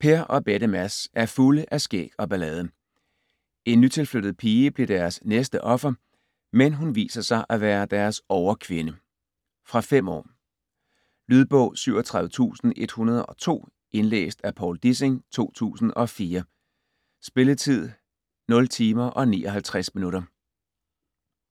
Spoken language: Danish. Per og bette Mads er fulde af skæg og ballade. En nytilflyttet pige bliver deres næste offer, men hun viser sig at være deres overkvinde. Fra 5 år. Lydbog 37102 Indlæst af Povl Dissing, 2004. Spilletid: 0 timer, 59 minutter.